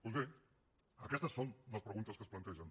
doncs bé aquestes són les preguntes que es plantegen